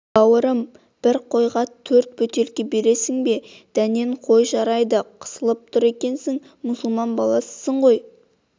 бауырым бір қойға төрт бөтелке бересің бе дөнен қой жарайды қысылып тұр екенсің мұсылман баласысың ғой